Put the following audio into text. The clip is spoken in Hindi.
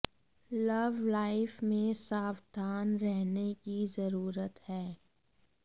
लव लाइफ में सावधान रहने की जरूरत है